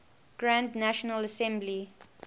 grand national assembly